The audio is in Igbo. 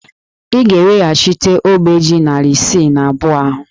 Ị ga-eweghachite ogbe ji narị isii na abụọ ahụ!